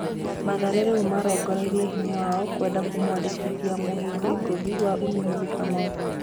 Mathare rĩu marongoreirie hinya wao kwenda kũmwandĩkithia mũhĩndi ngũthi wa Ulinzi Kamau.